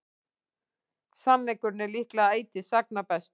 sannleikurinn er líklega ætíð sagna bestur